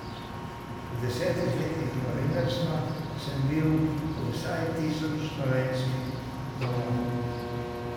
V desetih letih novinarstva sem bil v vsaj tisoč slovenskih domovih.